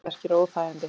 Kviðverkir og óþægindi